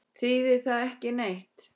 Þýðir það ekki neitt?